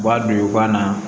U b'a don u ka na